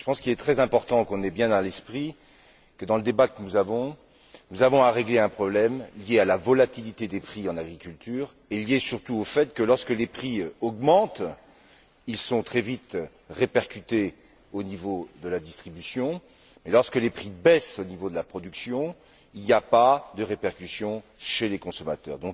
Je pense qu'il est très important qu'on ait bien à l'esprit que, dans ce débat, nous avons à régler un problème lié à la volatilité des prix dans l'agriculture et lié, surtout, au fait que lorsque les prix augmentent, ils sont très vite répercutés au niveau de la distribution, et lorsque les prix baissent au niveau de la production, il n'y a pas de répercussion chez les consommateurs.